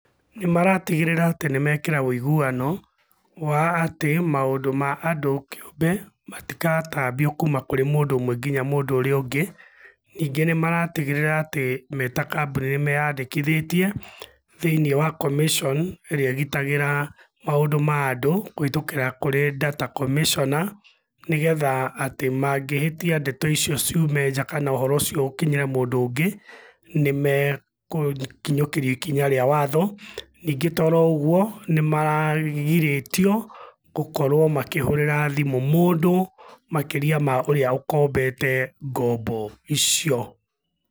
Nĩmaratigĩrĩra atĩ nĩmekĩra wĩiguano, wa atĩ maũndũ ma andũ kĩũmbe, matigatambio kuma kũrĩ mũndũ ũmwe kinya mũndũ ũrĩa ũngĩ. Ningĩ nĩmaratigĩrĩra atĩ me ta kambũni nĩmeyandĩkithĩtie, thĩiniĩ wa commission ĩrĩa ĩgitagĩra, maũndũ ma andũ, kũhĩtũkĩra kũrĩ data commisioner, nĩgetha atĩ mangĩhĩtia ndeto icio ciume nja kana ũhoro ũcio ũkinyĩre mũndũ ũngĩ, nĩmekũkinyũkĩrio ikinya rĩa watho, ningĩ to oroũguo, nĩmaragirĩtio gũkorũo makĩhũrĩra thimũ mũndũ makĩria ma ũrĩa ũkombete ngombo icio.